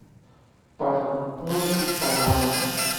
портной из панамы